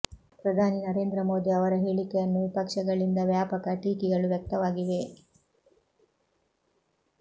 ಪ್ರಧಾನಿ ನರೇಂದ್ರ ಮೋದಿ ಅವರ ಹೇಳಿಕೆಯನ್ನು ವಿಪಕ್ಷಗಳಿಂದ ವ್ಯಾಪಕ ಟೀಕಿಗಳು ವ್ಯಕ್ತವಾಗಿವೆ